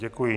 Děkuji.